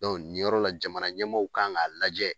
niyɔrɔ la jamana ɲɛmɔɔw kan k'a lajɛ